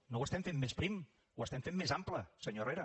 no ho estem fent més prim ho estem fent més ample senyor herrera